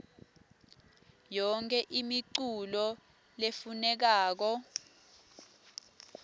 yonkhe imiculu lefunekako